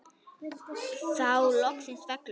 Þá loksins fellur hann.